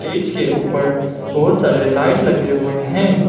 Stage के ऊपर बहुत सारे लाइट लगे हुए हैं।